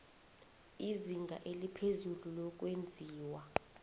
izinga eliphezulu lokwenziwa